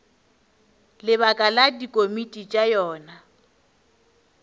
lebaka la dikomiti tša yona